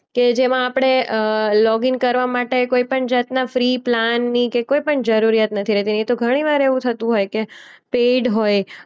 કે જેમાં આપણે અ લોગ ઈન કરવા માટે કોઈ પણ જાતના ફ્રી પ્લાનની કે કોઈ પણ જરૂરિયાત નથી રહેતી. નહીં તો ઘણીવાર એવું થતું હોય કે પેઈડ હોય.